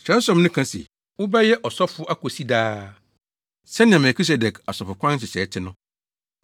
Kyerɛwsɛm no ka se, “Wobɛyɛ ɔsɔfo akosi daa sɛnea Melkisedek asɔfokwan nhyehyɛe te no.”